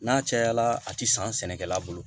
N'a cayala a ti san sɛnɛkɛla bolo